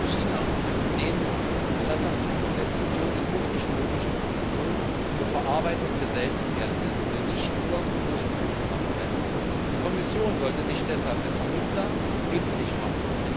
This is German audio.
China hat zudem Interesse an Investitionen in die hochtechnologische Produktion zur Verarbeitung seltener Erden, denn es will nicht nur Rohstofflieferant sein. Die Kommission sollte sich deshalb als Vermittlerin nützlich machen.